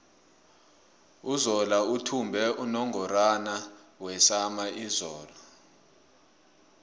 uzola uthumbe unungorwana wesama izolo